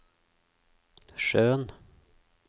sjøen